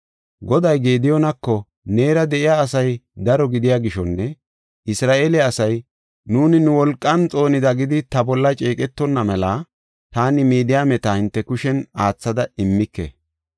Goday Gediyoonako, “Neera de7iya asay daro gidiya gishonne Isra7eele asay, ‘Nuuni nu wolqan xoonida’ gidi ta bolla ceeqetonna mela taani Midiyaameta hinte kushen aathada immike.